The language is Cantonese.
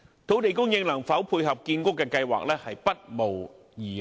土地供應能否配合建屋計劃，不無疑慮。